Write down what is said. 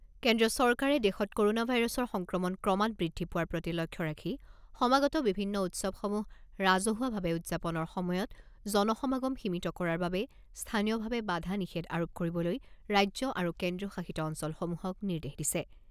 কেন্দ্ৰীয় চৰকাৰে দেশত ক'ৰণা ভাইৰাছৰ সংক্ৰমণ ক্ৰমাৎ বৃদ্ধি পোৱাৰ প্ৰতি লক্ষ্য ৰাখি সমাগত বিভিন্ন উৎসৱসমূহ ৰাজহুৱাভাৱে উদযাপনৰ সময়ত জন সমাগম সীমিত কৰাৰ বাবে স্থানীয়ভাৱে বাধা নিষেধ আৰোপ কৰিবলৈ ৰাজ্য আৰু কেন্দ্ৰীয় শাসিত অঞ্চলসমূহক নিৰ্দেশ দিছে।